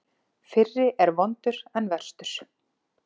Fyrri er vondur en verstur.